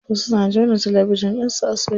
Wasu na jona talabijin ɗinsu a soket.